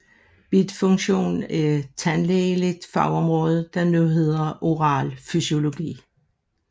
Bidfunktion er tandlægeligt fagområde der nu hedder oral fysiologi